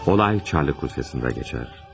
Olay Çarlıq Rusiyasında keçər.